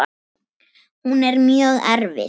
Hún er mjög erfið.